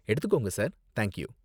எடுத்துக்கோங்க sir, thank you.